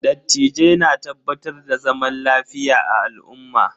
Dattijai na tabbatar da zaman lafiya a al'umma.